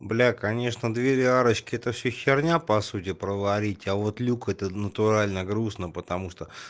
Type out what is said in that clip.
бля конечно двери арочки это все херня по сути проварить а вот люк это натурально грустно потому что